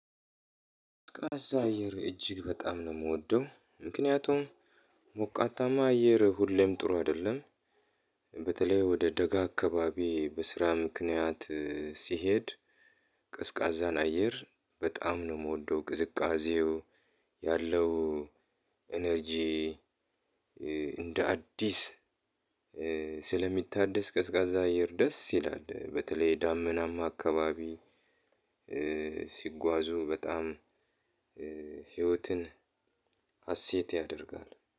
ቀዝቃዛ አየር እጅግ በጣም ነው የምወደው ምክንያቱም ሞቃታማ አየር ሁሌም ጥሩ አይደለም። በተለይ ወደ ደጋ አካባቢ በስራ ምክንያት ሲሄድ። ቀዝቃዛን አየር ባጣም ነው የምወደው ቅዝቃዜው ያለው። ኢነርጂ እንደ አዲስ ስለሚታደስ ቀዝቃዛ አየር ደስ ይላል በተለይ ዳመናማ አካባቢ። ሲጓዙ በጣም ህይወትን ሀሴት ያደርጋል